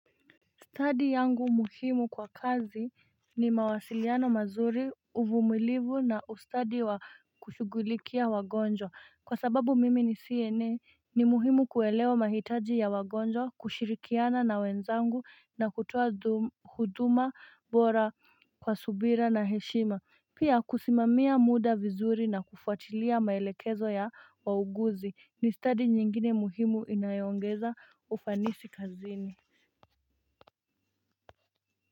Study yangu muhimu kwa kazi ni mawasiliano mazuri uvumilivu na ustadi wa kushugulikia wagonjwa kwa sababu mimi ni CNN ni muhimu kuelewa mahitaji ya wagonjwa kushirikiana na wenzangu na kutuwa huduma bora kwa subira na heshima Pia kusimamia muda vizuri na kufuatilia maelekezo ya wauguzi ni study nyingine muhimu inayongeza ufanisi kazini.